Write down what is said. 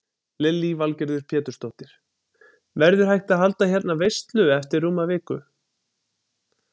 Lillý Valgerður Pétursdóttir: Verður hægt að halda hérna veislu eftir rúma viku?